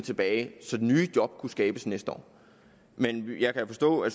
tilbage og nye job kan skabes næste år men jeg kan forstå at